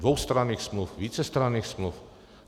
Dvoustranných smluv, vícestranných smluv.